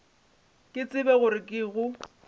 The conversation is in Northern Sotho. ke tsebe gore ke go